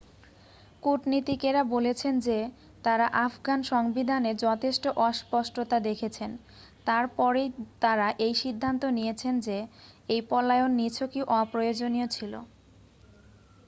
কূটনীতিকেরা বলেছেন যে তাঁরা আফগান সংবিধানে যথেষ্ট অস্পষ্টতা দেখেছেন তার পরেই তাঁরা এই সিদ্ধান্ত নিয়েছেন যে এই পলায়ন নিছকই অপ্রয়োজনীয় ছিল